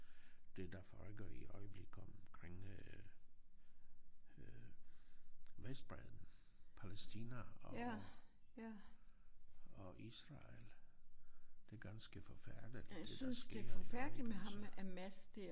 Det der foregår i øjeblik omkring øh øh Vestbredden Palæstina og og Israel. Det ganske forfærdeligt det der sker jo ik altså